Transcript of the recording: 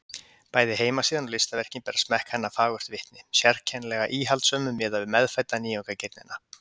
Bæði heimasíðan og listaverkin bera smekk hennar fagurt vitni, sérkennilega íhaldssömum miðað við meðfædda nýjungagirnina.